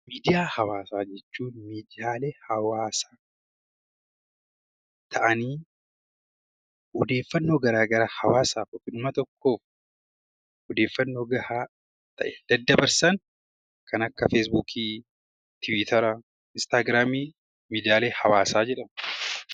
Miidiyaa hawaasaa jechuun miidiyaalee hawaasaa ta'anii odeeffannoo garaagaraa hawaasaaf yookiin uummata tokkoof odeeffannoo gahaa ta'e daddabarsan kan akka feesbuukii, tiwiitarii , instaagiraamii miidiyaalee hawaasaa jedhamu